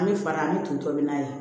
An bɛ fara an bɛ to tɔbi n'a ye